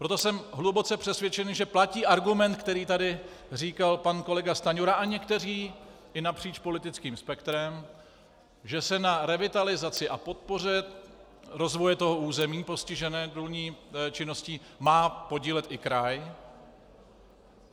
Proto jsem hluboce přesvědčen, že platí argument, který tady říkal pan kolega Stanjura a někteří i napříč politickým spektrem, že se na revitalizaci a podpoře rozvoje toho území postiženého důlní činností má podílet i kraj.